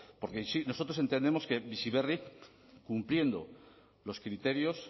porque sí nosotros entendemos que bizi berri cumpliendo los criterios